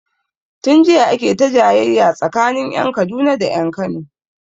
Tun jiya ake ta jayayya tsakanin ƴan Kaduna da ƴan Kano